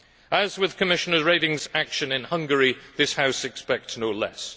As with Commissioner Reding's action in Hungary, this House expects no less.